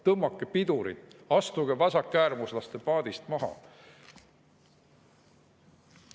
Tõmmake pidurit, astuge vasakäärmuslaste paadist maha!